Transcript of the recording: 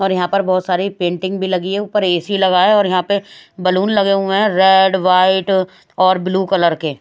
और यहाँ पर बहोत सारी पेंटिंग भी लगी हैं ऊपर ए _सी लगा है और यहाँ पे बैलून लगे हुए हैं रेड व्हाइट और ब्लू कलर के --